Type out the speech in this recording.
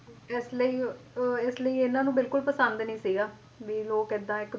ਇਸ ਲਈ ਅਹ ਇਸ ਲਈ ਇਹਨਾਂ ਨੂੰ ਬਿਲਕੁਲ ਪਸੰਦ ਨਹੀਂ ਸੀਗਾ ਵੀ ਲੋਕ ਇਹਦਾ ਇੱਕ